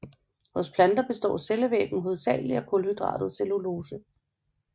Hos planter består cellevæggen hovedsagelig af kulhydratet cellulose